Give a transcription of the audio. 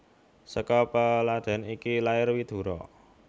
Saka peladèn iki lair Widura